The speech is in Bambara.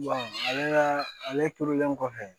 ale ka ale turulen kɔfɛ